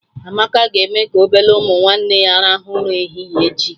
Amaka ga-eme ka obele ụmụ nwanne ya rahụ ụra ehihie echi